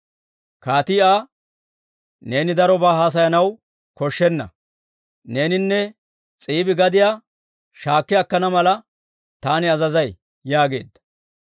Kaatii Aa, «Neeni darobaa haasayanaw koshshenna. Neeninne S'iibi gadiyaa shaakki akkana mala taani azazay» yaageedda.